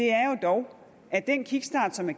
er jo dog at den kickstart som er